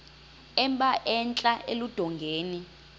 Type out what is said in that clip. emba entla eludongeni